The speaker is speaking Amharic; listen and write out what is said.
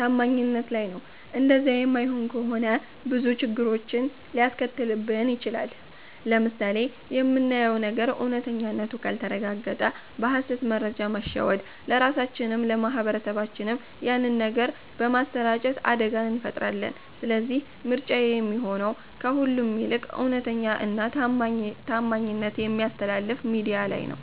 ታማኝነት ላይ ነው እንደዛ የማይሆን ከሆነ ብዙ ችግሮችን ሊያስከትልብን ይቺላል። ለምሳሌ የምናየው ነገር እውነተኛነቱ ካልተረጋገጠ በ ሀሰት መረጃ በመሸወድ ለራሳቺንም ለ ማህበረሰብም ያንን ነገር በማሰራጨት አደጋ እንፈጥራለን ስለዚህ ምርጫዬ የሚሆነው ከሁሉም ይልቅ እውነተኛ እና ታማኝት በሚያስተላልፍ ሚድያ ላይ ነው